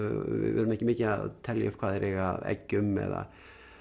við erum ekki mikið að telja upp hvað þeir eiga af eggjum eða